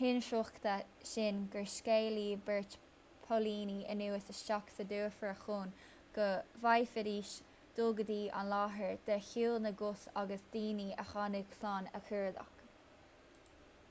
hinsroichte sin gur scaoileadh beirt póilíní anuas isteach sa dufair chun go bhféadfaidís dul go dtí an láthair de shiúl na gcos agus daoine a tháinig slán a chuardach